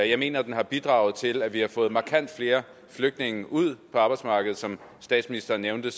jeg mener at den har bidraget til at vi har fået markant flere flygtninge ud på arbejdsmarkedet som statsministeren nævnte